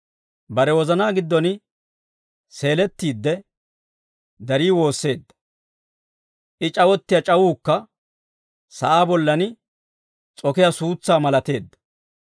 Bare wozanaa giddon seelettiidde, darii woosseedda. I c'awottiyaa c'awuukka sa'aa bollan s'okiyaa suutsaa malateedda.